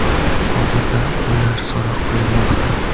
Hozirda ular so‘roq qilinmoqda.